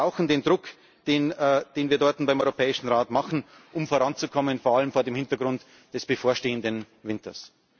Wir brauchen den Druck, den wir dort beim Europäischen Rat machen, um voranzukommen, vor allem vor dem Hintergrund des bevorstehenden Winters.